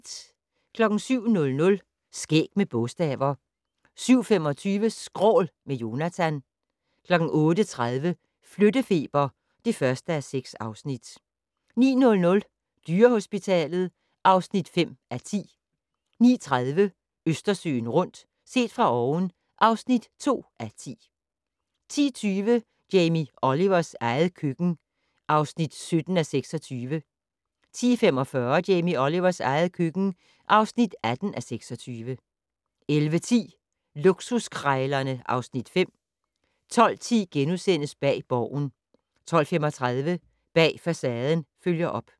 07:00: Skæg med bogstaver 07:25: Skrål - med Jonatan 08:30: Flyttefeber (1:6) 09:00: Dyrehospitalet (5:10) 09:30: Østersøen rundt - set fra oven (2:10) 10:20: Jamie Olivers eget køkken (17:26) 10:45: Jamie Olivers eget køkken (18:26) 11:10: Luksuskrejlerne (Afs. 5) 12:10: Bag Borgen * 12:35: Bag Facaden følger op